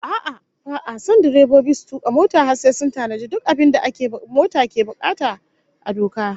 A'a, ba'a son direbobi su tuka mota har sai sun tanaji duk abin da mota ke bukata a doka